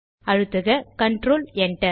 அழுத்துக control Enter